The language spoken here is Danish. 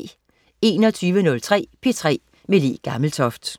21.03 P3 med Le Gammeltoft